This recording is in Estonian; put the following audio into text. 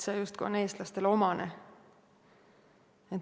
See justkui on eestlastele omane.